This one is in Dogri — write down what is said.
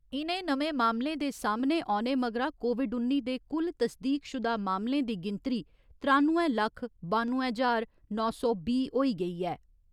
इ'नें नमें मामलें दे सामने औने मगरा कोविड उन्नी दे कुल तस्दीकशुदा मामले दी गिनतरी त्रानुए लक्ख बानुए ज्हार नौ सौ बीह् होई गेई ऐ।